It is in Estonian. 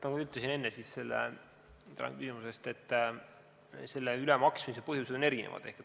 Jah, nagu ma enne ütlesin, siis selle ülemaksmise põhjused on erinevad.